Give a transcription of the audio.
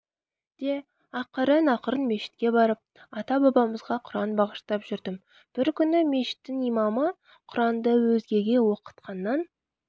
де ақырын-ақырын мешітке барып ата-бабамызға құран бағыштап жүрдім бір күні мешіттің имамы құранды өзгеге оқытқаннан